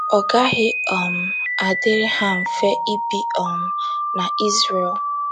Ọ gaghị um adịrị ha mfe ibi um na izrel